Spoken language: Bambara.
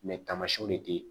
tamasiyɛnw de tɛ